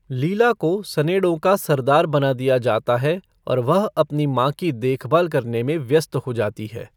लीला को सनेड़ों का सरदार बना दिया जाता है और वह अपनी माँ की देखभाल करने में व्यस्त हो जाती है।